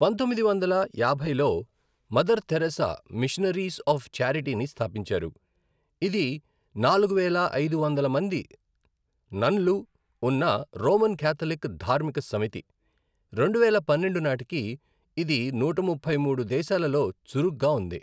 పంతొమ్మిది వందల యాభైలో, మదర్ థెరిసా మిషనరీస్ ఆఫ్ ఛారిటీని స్థాపించారు, ఇది నాలుగు వేల ఐదు వందలు మంది నన్లు ఉన్న రోమన్ కాథలిక్ ధార్మిక సమితి, రెండువేల పన్నెండు నాటికి ఇది నూట ముప్పై మూడు దేశాలలో చురుగ్గా ఉంది.